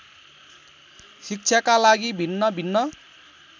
शिक्षाका लागि भिन्नभिन्न